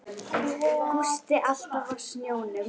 Gústi alltaf á sjónum.